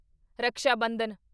Raksha Bandhan